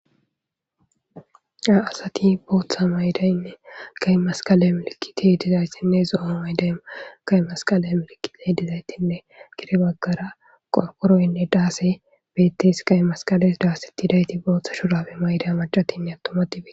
Daro asati bootha mayidayine qeyi masiqale milikitey dizaytinne zo'o mayidayt qayi masiqale milikitey dizaytinne gede bagara qorqoroyine daasey betes, qey masqalesi dasetidayti booth shurabe mayidayti macatinne atumati